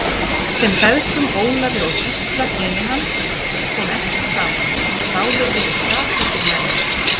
Þeim feðgum, Ólafi og Gísla syni hans, kom ekki saman, báðir voru skapríkir menn.